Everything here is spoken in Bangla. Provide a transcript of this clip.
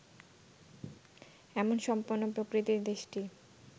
এমন সম্পন্ন প্রকৃতির দেশটি